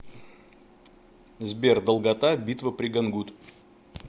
сбер долгота битва при гангут